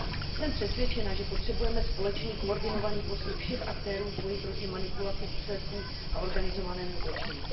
Jsem přesvědčena, že potřebujeme společný koordinovaný postup všech aktérů v boji proti manipulaci výsledků a organizovanému zločinu.